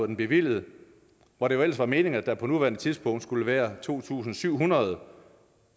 den bevilget hvor det jo ellers var meningen at der på nuværende tidspunkt skulle være to tusind syv hundrede